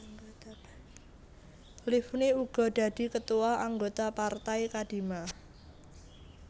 Livni uga dadi ketua anggota partai Kadima